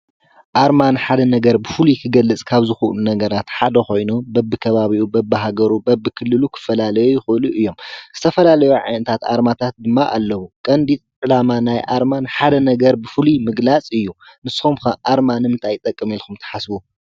ኣርማ ንሓደ ነገር ብፍሉይ ክገልፅ ካብ ዝክእሉ ነገራት ሓደ ኮይኑ በብከባብኡ በብሃገሩ በብክልሉ ክፈላለዩ ይኽእሉ እዮም ። ዝተፈላለዩ ዓይነታት ኣርማታት ድማ ኣለው። ቀምዲ ዕላማ ናይ ኣርማ ሓደ ነገር ብፍሉይ ንምግላፅ እዩ። ንስኩም ከ ኣርማ ንምንታይ ይጠቅም ኢልኩም ትሓስቡ?